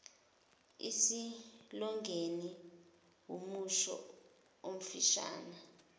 isilogeni wumusho omfishane